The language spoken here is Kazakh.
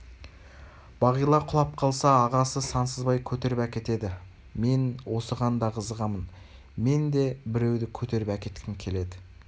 бағила құлап қалса ағасы сансызбай көтеріп әкетеді мен осыған да қызығамын мен де біреуді көтеріп әкеткім келеді